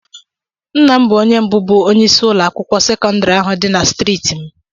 Nna m bụ onye mbụ bụ onyeisi ụlọ akwụkwọ sekọndrị ahụ dị na striiti m.